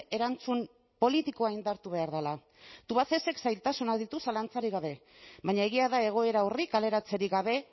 erantzun politikoa indartu behar dela tubacexek zailtasunak ditu zalantzarik gabe baina egia da egoera horri kaleratzerik gabe